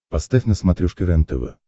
поставь на смотрешке рентв